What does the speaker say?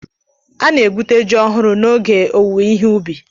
Ana-egwute ji ọhụrụ n'oge ge owuwe ihe ubi.